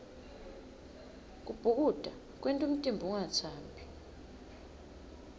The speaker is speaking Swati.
kubhukuda kwenta umtimba ungatsambi